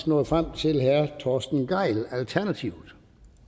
nået frem til herre torsten gejl alternativet